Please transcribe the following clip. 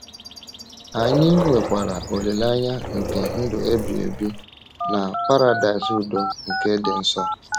Anyị nwekwara olileanya nke ndụ ebighị ebi na Paradaịs udo nke dị nso.